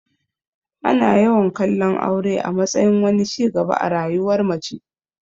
Ana yawan kallon aure a matsayin wani ci gaba a rayuwar mace.